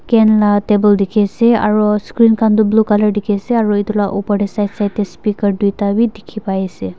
En la table dekhi ase aro screen khan tu blue colour dekhi ase aro etu la upor tey side side tey speaker duita bi dekhi pai ase.